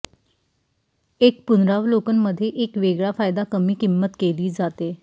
एक पुनरावलोकन मध्ये एक वेगळा फायदा कमी किंमत केली जाते